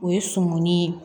O ye sɔmɔni ye